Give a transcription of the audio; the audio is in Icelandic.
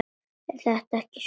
En þetta var ekki svona.